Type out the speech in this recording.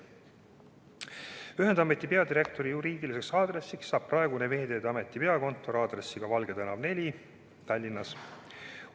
Ühendameti peadirektori juriidiliseks aadressiks saab praegune Veeteede Ameti peakontori aadress Valge tänav 4 Tallinnas.